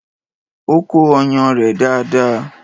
O kó ọyàn rẹ̀ dáadáa.